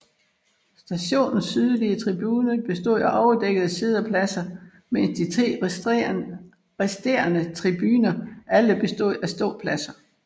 Stadionets sydlige tribune bestod af overdækkede siddepladser mens de tre resterende tribuner alle bestod af ståpladser